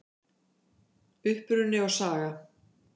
Uppruni og saga